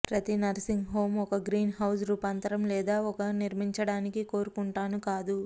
ప్రతి nursing home ఒక green house రూపాంతరం లేదా ఒక నిర్మించడానికి కోరుకుంటాను కాదు